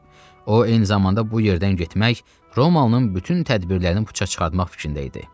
O, eyni zamanda bu yerdən getmək Romanın bütün tədbirlərini puça çıxartmaq fikrində idi.